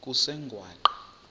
kusengwaqa